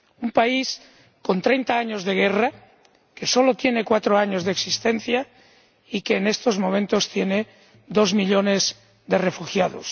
un país con treinta años de guerra, que solo tiene cuatro años de existencia y que en estos momentos tiene dos millones de refugiados.